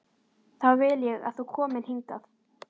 Þá vil ég að þú komir hingað!